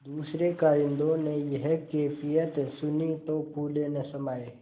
दूसरें कारिंदों ने यह कैफियत सुनी तो फूले न समाये